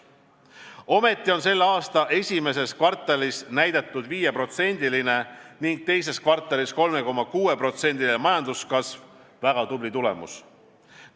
Ometi on selle aasta esimeses kvartalis näidatud 5%-line ning teises kvartalis 3,6%-line majanduskasv väga tubli tulemus.